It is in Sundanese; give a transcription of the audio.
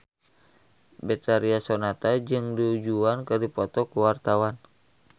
Betharia Sonata jeung Du Juan keur dipoto ku wartawan